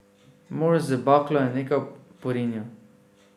Mož z baklo je nekaj porinil.